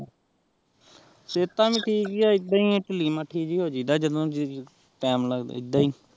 ਸ੍ਵੇਤਾ ਵੀ ਠੀਕ ਆਹ ਆਈਦਾ ਹੀ ਆਹ ਦਹਿਲੀ ਮਥਿ ਜੀ ਤੀਮੇ ਲਗਦਾ ਹੀ